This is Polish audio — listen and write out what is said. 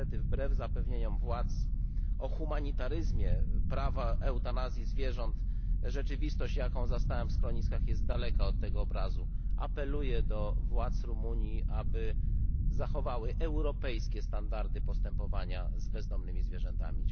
Niestety, wbrew zapewnieniom władz o humanitaryzmie prawa eutanazji zwierząt, rzeczywistość, jaką zastałem w schroniskach, jest daleka od tego obrazu. Apeluję do władz Rumunii, aby zachowały europejskie standardy postępowania z bezdomnymi zwierzętami.